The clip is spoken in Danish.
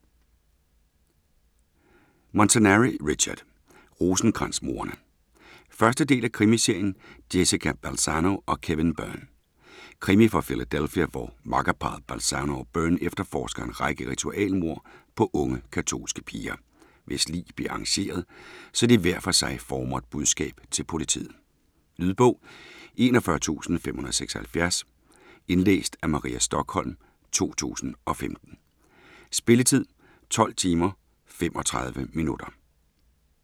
Montanari, Richard: Rosenkrans-mordene 1. del af krimiserien Jessica Balzano & Kevin Byrne. Krimi fra Philadelphia, hvor makkerparret Balzano og Byrne efterforsker en række ritualmord på unge katolske piger, hvis lig bliver arrangeret, så de hver for sig rummer et budskab til politiet. Lydbog 41576 Indlæst af Maria Stokholm, 2015. Spilletid: 12 timer, 35 minutter.